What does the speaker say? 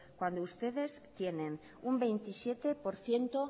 cuando ustedes tienen un veintisiete por ciento